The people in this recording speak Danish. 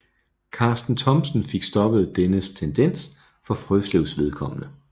Karsten Thomsen fik stoppet denne tendens for Frøslevs vedkommende